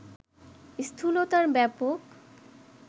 স্থূলতার ব্যাপক